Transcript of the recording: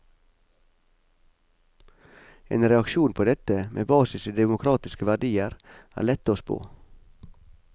En reaksjon på dette, med basis i demokratiske verdier, er lett å spå.